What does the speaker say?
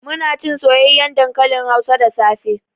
Munacin soyayyen dankalin hausa da safe